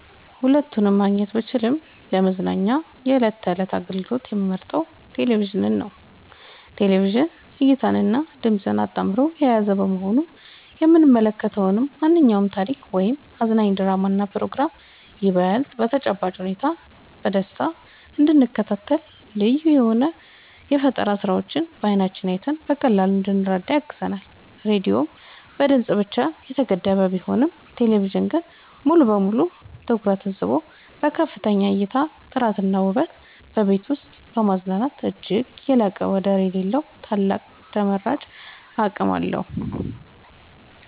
ሁለቱንም ማግኘት ብችል ለመዝናኛ የዕለት ተዕለት አገልግሎት የምመርጠው ቴሌቪዥንን ነው። ቴሌቪዥን እይታንና ድምጽን አጣምሮ የያዘ በመሆኑ የምንመለከተውን ማንኛውንም ታሪክ ወይም አዝናኝ ድራማና ፕሮግራም ይበልጥ በተጨባጭ ሁኔታ በደስታ እንድንከታተልና ልዩ የሆኑ የፈጠራ ስራዎችን በዓይናችን አይተን በቀላሉ እንድንረዳ ያግዘናል። ራዲዮ በድምጽ ብቻ የተገደበ ቢሆንም ቴሌቪዥን ግን ሙሉ በሙሉ ትኩረትን ስቦ በከፍተኛ የእይታ ጥራትና ውበት በቤት ውስጥ የማዝናናት እጅግ የላቀና ወደር የሌለው ታላቅ ተመራጭ አቅም አለው።